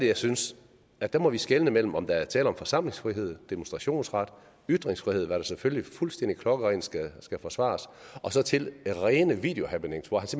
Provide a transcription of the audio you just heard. jeg synes at der må vi skelne imellem om der er tale om forsamlingsfrihed demonstrationsret ytringsfrihed hvilket selvfølgelig fuldstændig klokkerent skal skal forsvares og så til rene videohappenings hvor